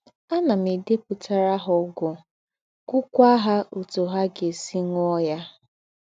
Ànà m èdèpùtàrà ha ógwù, gwúkwà ha ótù ha gá-èsì ṅúọ̀ ha.